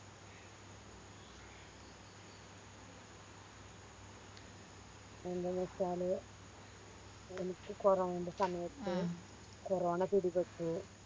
എന്താന്ന് വെച്ചാല് എനിക്ക് കോറോണേൻറെ സമയത്ത് കൊറോണ പിടിപെട്ടു